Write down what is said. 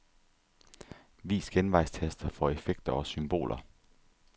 Vis genvejstaster for effekter og symboler.